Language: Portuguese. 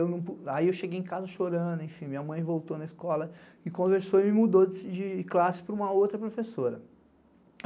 Aí eu cheguei em casa chorando, enfim, minha mãe voltou na escola, me conversou e me mudou de classe para uma outra professora.